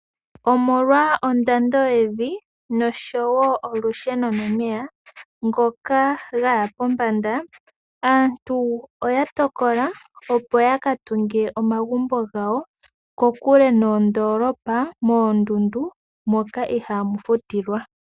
Omolwa ondando yevi nosho woo olusheno nomeya ngoka gaya pombanda aantu oya tokola opo yaka tunge omagumbo gawo kokule noondolopa moondundu moka ihaamu futilwa.